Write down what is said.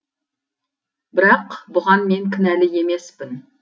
бірақ бұған мен кінәлі емеспін